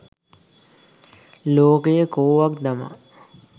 ලෝකය කෝවක් දමා